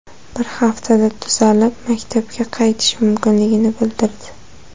Bir haftada tuzalib, maktabga qaytishi mumkinligini bildirdi.